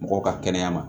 Mɔgɔw ka kɛnɛya ma